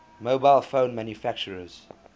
mobile phone manufacturers